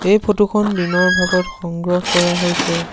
এই ফটোখন দিনৰ ভাগত সংগ্ৰহ কৰা হৈছে।